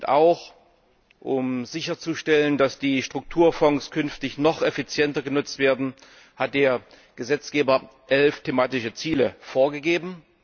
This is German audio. Und auch um sicherzustellen, dass die Strukturfonds künftig noch effizienter genutzt werden, hat der Gesetzgeber elf thematische Ziele vorgegeben.